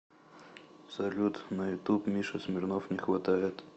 салют на ютуб миша смирнов не хватает